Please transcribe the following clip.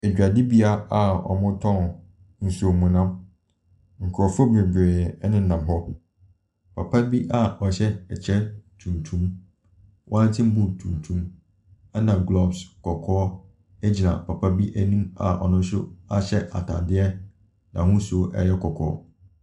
Adwadibea a wɔtɔn a nsuo a wɔnom. Nkurɔfoɔ bebree nenam hɔ. Papa bi a wahyɛ ɛkyɛ tuntum, wellington boot tuntum na gloves kɔkɔɔ gyina papa bi anim a ɔno nso ɛhyɛ ataadeɛ a n’ahosuo yɛ kɔkɔɔ.